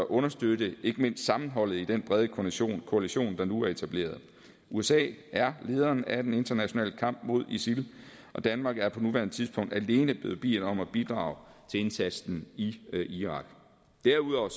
understøtter ikke mindst sammenholdet i den brede koalition koalition der nu er etableret usa er lederen af den internationale kamp mod isil og danmark er på nuværende tidspunkt alene blevet bedt om at bidrage til indsatsen i irak derudover